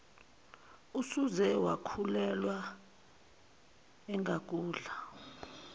usuze wakhulelwa engakudla